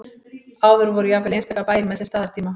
áður voru jafnvel einstaka bæir með sinn staðartíma